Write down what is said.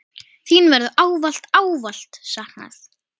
Þín verður ávallt, ávallt saknað.